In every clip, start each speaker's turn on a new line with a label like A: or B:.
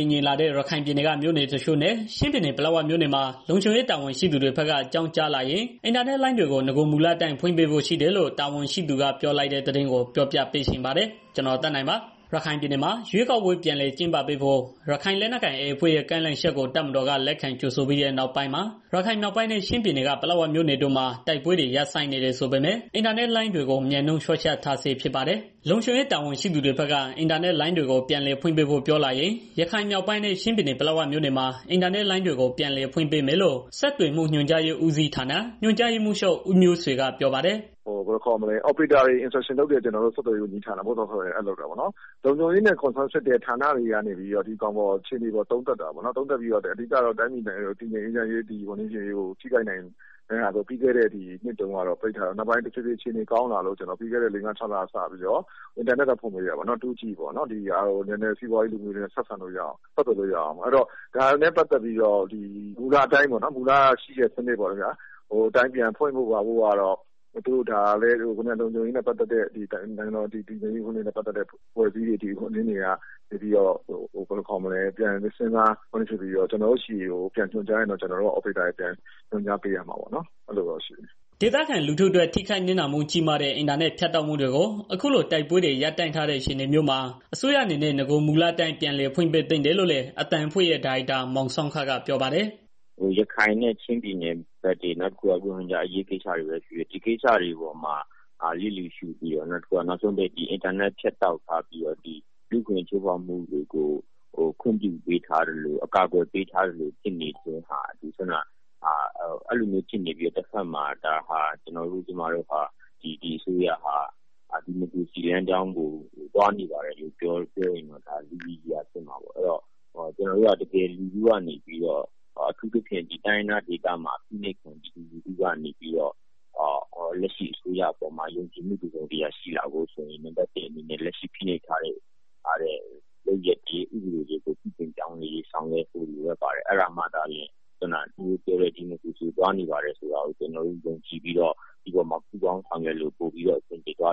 A: ည်ငြိမ်လာတဲ့ ရခိုင်ပြည်နယ်က မြို့နယ်တချို့နဲ့ ချင်းပြည်နယ် ပလက်ဝမြို့နယ်မှာ လုံခြုံရေးတာဝန်ရှိသူတွေဘက်က အကြောင်းကြားလာရင် အင်တာနက်လိုင်းတွေကို နဂိုမူလအတိုင်း ဖွင့်ပေးဖို့ရှိတယ်လို့ တာဝန်ရှိသူကပြောဆိုလိုက်တဲ့ သတင်းကို ပြောပြပေးချင်ပါတယ်။ ဗွီအိုအေမြန်မာပိုင်း သတင်းထောက် ကိုသက်နိုင်က သတင်းပေးပို့ထားပါတယ်။ ရခိုင်ပြည်နယ်မှာ ရွေးကောက်ပွဲ ပြန်လည်ကျင်းပပေးဖို့ ရခိုင်လက်နက်ကိုင် AA အဖွဲ့ရဲ့ ကမ်း လှမ်းချက်ကို တပ်မတော်က လက်ခံကြိုဆိုပြီးတဲ့ နောက်ပိုင်းမှာ ရခိုင်မြောက်ပိုင်းနဲ့ ချင်းပြည်နယ် ပလက်ဝမြို့နယ်တို့မှာ တိုက်ပွဲတွေ ရပ်ဆိုင်းနေတယ်ဆိုပေမဲ့လည်း အင်တာနက်လိုင်းတွေကို မြန်းနှုန်းလျှော့ချထားဆဲ ဖြစ်ပါတယ်။ လုံခြုံရေး တာဝန်ရှိသူတွေဘက်က အင်တာနက်လိုင်းတွေကို ပြန်လည်ဖွင့်ပေးဖို့ ပြောလာရင် ရခိုင်မြောက်ပိုင်းနဲ့ ချင်းပြည်နယ် ပလက်ဝမြို့နယ်မှာ အင်တာနက်လိုင်းတွေ ပြန်လည်ဖွင့် ပေးမယ်လို့ ဆက်သွယ်မှု ညွန်ကြားရေးဦးစီးဌာ ညွန်ကြားရေးမှူးချုပ် ဦးမျိုးဆွေ ကပြော ပါတယ်။
B: “Operator တွေကို Instruction လုပ်ရတဲ့ ကျနော်တို့ ဆက်သွယ်ရေးဝန်ကြီးဌာနက လုပ်တာပေါ့နော်။ လုံခြုံရေးနဲ့ ဆက်စပ်တဲ့ ဌာနတွေကနေပြီးတော့ ဒီအခြေအနေပေါ် သုံးသက်ပြီးတော့ အဓိကတော့ တိုင်းပြည်နိုင်ငံတော် တည်ငြိမ်ရေးကို ထိခိုက်နိုင်တဲ့ဟာပေါ့... ပြီးခဲ့တဲ့ နှစ်တွေကတော့ ပိတ်ထားတာ နောက်ပိုင်းတော့ တဖြည်းဖြည်း အခြေအနေ ကောင်း လာတော့ ပြီးခဲ့တဲ့ လေး၊ ငါး၊ ခြောက်လလောက်က 2G အင်တာနက် ပြန်ဖွင့်ပေးခဲ့တယ်။ စီးပွားရေး၊ လူမှုရေး ဆက်သွယ်လို့ရအောင်ပေါ့။ ဒါနဲ့ ပတ်သတ်ပြီးတော့ မူလအတိုင်း 4G စနစ် ပြန်ဖွင့်ဖို့ကျတော့ လုံခြုံရေးနဲ့ ပတ်သက်တဲ့ နိုင်ငံတော်တည်ငြိမ်ရေးနဲ့ ပတ်သတ်တဲ့ အဖွဲ့အစည်းတွေက ပြန်သုံးသပ်ပြီးတော့ ကျနော်တို့ဆီကို ညွှန်ကြားရင်တော့ ကျနော်တို့က Operator တွေကို ပြန်ညွန်ကြားပေးရမှာပေါ့ အဲဒီလိုတော့ ရှိတယ်။
A: ” ဒေသခံလူထုအတွက် ထိခိုက်နစ်နာမှု ကြီးမားတဲ့ အင်တာနက် ဖြတ်တောက်မှုတွေကို အခုလို တိုက်ပွဲတွေ ရပ်တန့်ထားတဲ့ အခြေအနေမျိုးမှာ အစိုးရအနေနဲ့ နဂိုမူလအတိုင်း ပြန်လည် ဖွင့်ပေးသင့်တယ်လို့လည်း အသံအဖွဲ့ရဲ့ ဒါရိုက်တာ မောင်ဆောင်းခကပြောပါတယ်
C: ။ “ရခိုင်နဲ့ ချင်းပြည်နယ်ဘက်ကတော့ နောက်တစ်ခု ရိုဟင်ဂျာအရေးကိစ္စတွေပဲ ဖြစ်ဖြစ်၊ ဒီကိစ္စတွေပေါ်မှာ ဘေးဖယ်ထားပြီးတော့ နောက်ဆုံး အင်တာနက် ဖြတ်တောက်ထားပြီးတော့ လူ့အခွင့်အရေး ချိုးဖောက်မှုကို ခွင့်ပြုထားသလို အကာအကွယ်ပေးထားသလို ဖြစ်နေတယ်။ တစ်ဘက်မှာလည်း ကျနော်တို့၊ ကျမတို့ဟာ ဒီအစိုးရဟာ ဒီမိုကရေစီလမ်းကြောင်းကို ပြောနေပါတယ်လို့ ပြောရင် လူရယ်စရာဖြစ်မှာပေါ့။ အဲဒီတော့ တိုင်းရင်းသားဒေသတွေမှာ ဖိနိုပ်ခံ ပြည်သူလူထုကနေပြီးတော့ လက်ရှိအစိုးရအပေါ်မှာ ယုံကြည်မှု တစ်စုံတစ်ရာရှိလာဖို့ဆိုရင် လက်ရှိဖိနှိပ်ထားတဲ့ လုပ်ရက်တွေ ဥပဒေတွေကို ပြုပြင်ပြောင်းလဲ ဆောင်ရွက်ဖို့ လိုအပ်ပါတယ်။ အဲဒါက သူတို့ပြောနေနဲ့ ဒီမိုကရေစီပြုပြင်ပြောင်းလဲရေးကို သွားနေပါတယ်ဆိုတာကို လက်ခံပြီးတော့ ကျနော်တို့က ပူးပေါင်းဆောင်ရွက်လို့ရမယ်လို့
A: မြင်ပါ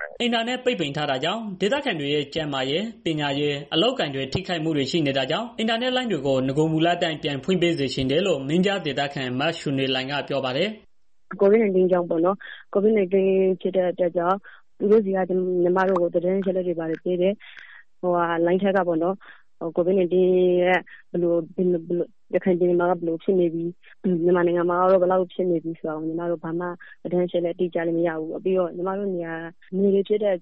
A: တယ်။” အင်တာနက်ပိတ်ပင်ထားတာကြောင့် ဒေသခံတွေရဲ့ ကျန်းမာရေး ပညာရေး အလုပ်အကိုင် တွေ ထိခိုက်မှုတွေ ရှိနေတာကြောင့် အင်တာနက်လိုင်းတွေကို နဂိုမူလအတိုင်း ပြန်ဖွင့်ပေးစေချင်တယ်လို့ မင်းပြားဒေသခံ မချိုနွယ်လှိုင်က ပြောပါတယ်
D: ။ “ကိုဗစ် ၁၉ ကာလမှာ ကျမတို့ သတင်းအချက်အလက်တွေ ဘာတွေကြည့်မယ်ဆိုရင်လည်း ရခိုင်ပြည်နယ် ကိုဗစ် ၁၉ ဘယ်လိုဖြစ်နေတယ်။ ဘယ်လောက်ထိကူးနေပြီလဲ ကျမတို့က ဘာသတင်းအချက်အလတ်မှ မရဘူး။ ပြီးတော့ကျမတို့နေတာက နယ်ဆိုတော့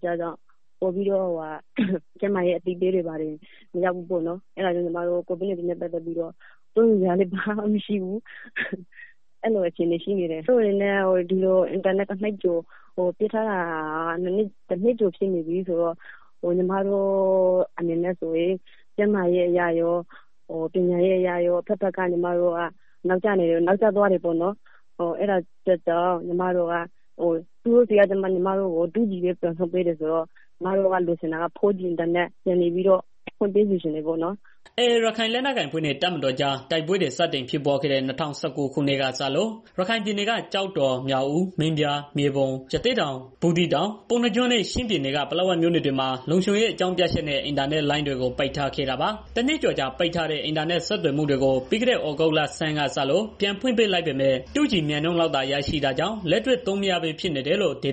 D: ကျန်းမာရေး အသိပညာပေးတာတွေ၊ ဘာတွေ မရောက်ဘူးပေါ့နော်။ အဲဒီတော့ ကျမတို့က စိုးရိမ်စရာလည်း ဘာမှမရှိဘူးဖြစ်နေတယ်။ ကျမတို့ ဒေသမှာ အင်တာနက် ပိတ်ထားတာ တစ်နှစ်ကျော်ရှိ နေပြီဆိုတော့ ကျန်းမာရေး အရရော၊ ပညာရေးအရရော၊ အဘက်ဘက်က ကျမတို့က နောက်ကျနေတယ်။ သူတို့က 2G ပဲ ပြန်ဖွင့်ပေးထားတာပေါ့နော်။ ကျမတို့ကတော့ 4G ပြန်ဖွင့် ပေးစေချင်တာပ
A: ေါ့နော်။” AA ရခိုင်လက်နက်ကိုင်အဖွဲ့နဲ့ တပ်မတော်ကြား တိုက်ပွဲတွေ စတင်ဖြစ်ပွားခဲ့တဲ့ ၂၀၁၉ ခုနှစ်ကစလို့ ရခိုင်ပြည်နယ် ကျောက်တော်၊ မြောက်ဦး၊ မင်းပြား၊ မြေပုံ၊ ရသေ့တောင်၊ ဘူးသီး တောင်၊ ပုဏ္ဏားကျွန်းနဲ့ ချင်းပြည်နယ်က ပလက်ဝမြို့နယ်တွေမှာ လုံခြုံရေး အကြောင်းပြ ချက်နဲ့ အင်တာနက်လိုင်းတွေကို ပိတ်ထားခဲ့တာပါ။ တနှစ်ကျော်ကြာ ပိတ်ထားတဲ့ အင်တာနက် ဆက်သွယ်မှုတွေကို ပြီးခဲ့တဲ့ သြဂုတ်လဆန်းကစ ပြန်ဖွင့်ပေးလိုက်ပေမဲ့ 2G မြန်နှုန်းလောက်သာ ရရှိတာကြောင့် လက်တွေ့ သုံးလို့မရဘဲ ဖြစ်နေတယ်လို့ ဒေ